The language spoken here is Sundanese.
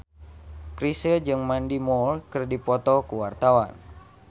Chrisye jeung Mandy Moore keur dipoto ku wartawan